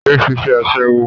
Yé ṣiṣẹ́ Aṣẹ́wó!